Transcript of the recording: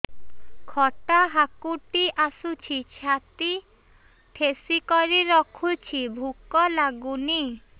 ଖଟା ହାକୁଟି ଆସୁଛି ଛାତି ଠେସିକରି ରଖୁଛି ଭୁକ ଲାଗୁନି